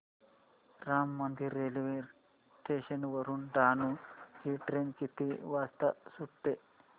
Ram Mandir railway station वरुन डहाणू ची train किती वाजता सुटेल